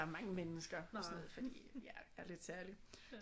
Mange mennesker og sådan noget fordi jeg er lidt særlig